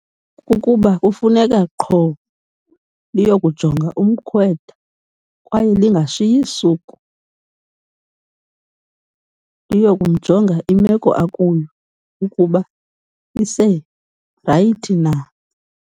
Kukuba kufuneka qho liyokujonga umkhwetha kwaye lingashiyi suku. Liyokumjonga imeko akuyo ukuba iserayithi na.